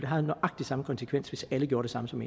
har nøjagtig samme konsekvens hvis alle gjorde det samme som